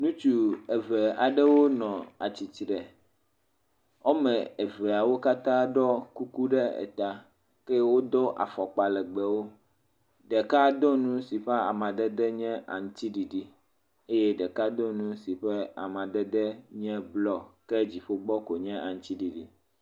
Ŋutsu eve aɖewo nɔ atsitre. Wɔme eveawo katã ɖɔ kuku ɖe eta ke wodo afɔkpa legbewo. Ɖeka do nu si ƒe amadede nye aŋtsiɖiɖi eye ɖeka do nu si ƒe amadede nye blɔ ke dziƒo gbɔ koe nye aŋtsiɖiɖi.